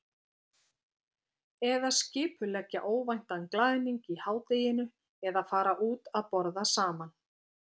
Eða skipuleggja óvæntan glaðning í hádeginu eða fara út að borða saman.